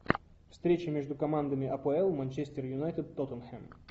встреча между командами апл манчестер юнайтед тоттенхэм